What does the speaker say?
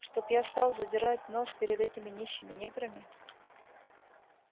чтоб я стал задирать нос перед этими нищими неграми